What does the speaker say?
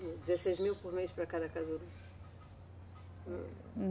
dezesseis mil por mês para cada casulo?